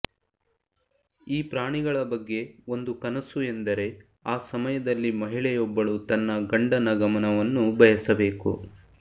ಈ ಪ್ರಾಣಿಗಳ ಬಗ್ಗೆ ಒಂದು ಕನಸು ಎಂದರೆ ಆ ಸಮಯದಲ್ಲಿ ಮಹಿಳೆಯೊಬ್ಬಳು ತನ್ನ ಗಂಡನ ಗಮನವನ್ನು ಬಯಸಬೇಕು